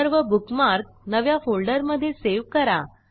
सर्व बुकमार्क नव्या फोल्डरमधे सेव्ह करा